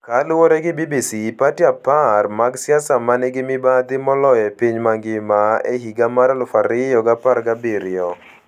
Kaluwore gi BBC, pati 10 mag siasa ma nigi mibadhi moloyo e piny mangima e higa mar 2017